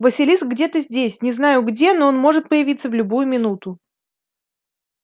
василиск где-то здесь не знаю где но он может появиться в любую минуту